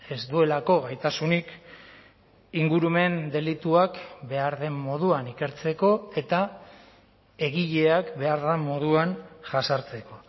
ez duelako gaitasunik ingurumen delituak behar den moduan ikertzeko eta egileak behar den moduan jazartzeko